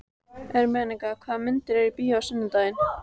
Ermenga, hvaða myndir eru í bíó á sunnudaginn?